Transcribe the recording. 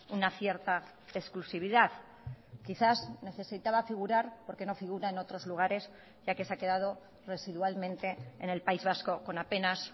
una cierta exclusividad quizás necesitaba figurar porque no figura en otros lugares ya que se ha quedado residualmente en el país vasco con apenas